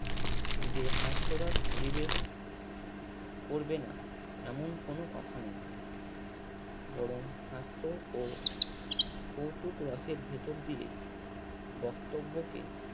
যে হাস্যরস পরিবেশ করবে না এমন কোনো কথা নেই। এবং হাস্য ও কৌতুক রসের ভেতর দিয়ে বক্তব্যকে